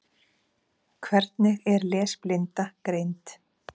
Hvernig er lesblinda greind?